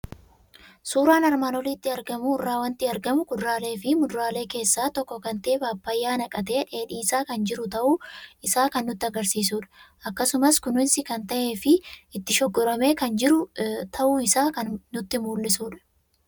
Suuraa armaan olitti argamu irraa waanti argamu; kuduraaleefi muduraalee keessaa tokko kan ta'e Phaaphayyaa naqatee dheedhiisaa kan jiru ta'uu isaa kan nutti agarsiisudha. Akkasumas kunuunsi kan ta'eefi itti shoggoramee kan jiru ta'uu isaa kan nutti mul'isudha.